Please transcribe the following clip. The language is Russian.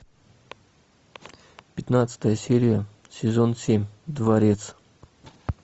пятнадцатая серия сезон семь дворец